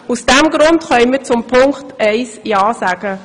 Aus diesem Grund können wir zu Punkt eins ja sagen.